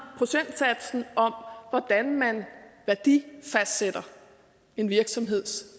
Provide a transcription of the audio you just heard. procentsatsen om hvordan man fastsætter en virksomheds